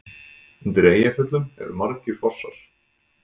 Undir Eyjafjöllum eru margir fossar.